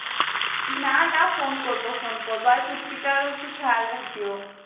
না না phone করবো phone করবো আর পুঁচকিটার একটু খেয়াল রাখিও